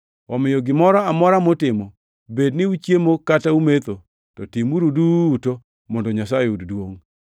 Omiyo gimoro amora mutimo, bed ni uchiemo kata umetho, to timgiuru duto mondo Nyasaye oyud duongʼ.